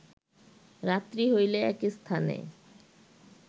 রাত্রি হইলে এক স্থানে